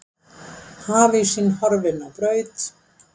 Hafísinn horfinn á braut